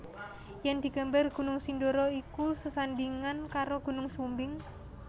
Yen digambar Gunung Sindoro iku sesandingan karo Gunung Sumbing